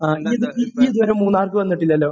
ആ. നീ...നീ ഇത് വരെ മൂന്നാർക്ക് വന്നിട്ടില്ലാലോ?